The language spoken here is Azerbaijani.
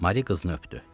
Mari qızını öpdü.